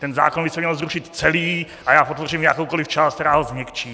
Ten zákon by se měl zrušit celý a já podpořím jakoukoli část, která ho změkčí.